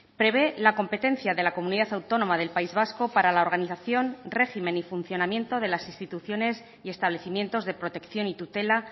prevé la competencia de la comunidad autónoma del país vasco para la organización régimen y funcionamiento de las instituciones y establecimientos de protección y tutela